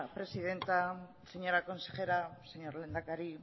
presidenta señora consejera señor lehendakari